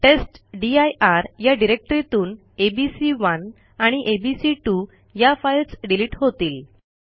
टेस्टदीर या डिरेक्टरीतून एबीसी1 आणि एबीसी2 या फाईल्स डिलिट होतील